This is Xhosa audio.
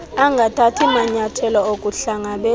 angathathi manyayathelo okuhlangabezana